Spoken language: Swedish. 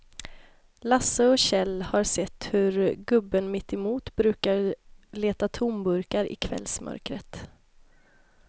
Lasse och Kjell har sett hur gubben mittemot brukar leta tomburkar i kvällsmörkret.